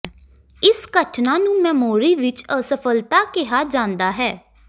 ਇਸ ਘਟਨਾ ਨੂੰ ਮੈਮੋਰੀ ਵਿੱਚ ਅਸਫਲਤਾ ਕਿਹਾ ਜਾਂਦਾ ਹੈ